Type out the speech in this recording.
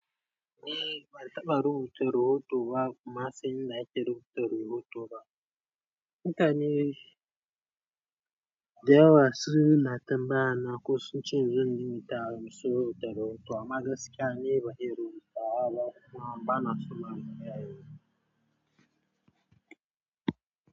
Eh, ban taɓa rubuta rahotu ba kuma sai in na yi rahoto rubutu ba. Mutane dayawa suna tambaya na ko sun ce in zo in rubuta rahoto amma gaskiya ni bana iya yi.